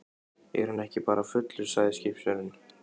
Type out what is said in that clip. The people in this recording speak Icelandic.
Er hann ekki bara fullur, segir skipstjórinn.